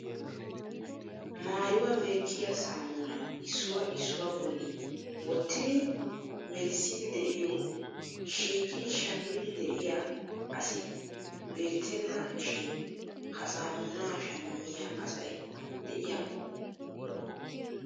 maayyuwa meecciya saamuna issuwaa issuwaa bolli wottidi melissidi de'iyo shiiqidi shammidi de'iyaa asi beettena shin ha sammuna shammiya asay de'iyakko lo''o!